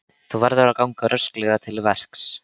Þú verður að ganga rösklega til verks.